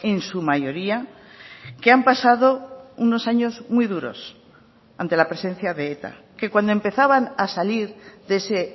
en su mayoría que han pasado unos años muy duros ante la presencia de eta que cuando empezaban a salir de ese